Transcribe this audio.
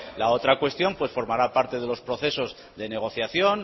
la otra cuestión pues formará parte de los procesos de negociación